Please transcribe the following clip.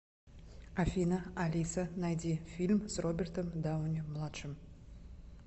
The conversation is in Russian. афина алиса найди фильм с робертом дауни младшим